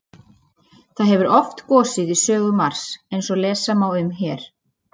Það hefur oft gosið í sögu Mars eins og lesa má um hér.